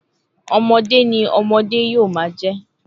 ọmọde ni ọmọde yomajẹ